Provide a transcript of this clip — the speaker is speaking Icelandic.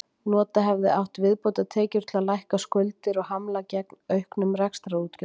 Nota hefði átt viðbótartekjur til að lækka skuldir og hamla gegn auknum rekstrarútgjöldum.